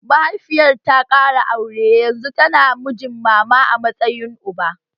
Mahaifiyarta ta ƙara aure yanzu tana da mijin mama a matsayin uba